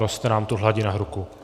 Roste nám tu hladina hluku.